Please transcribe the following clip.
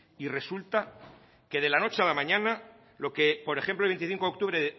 y resulta que de la noche a la mañana lo que por ejemplo el veinticinco de octubre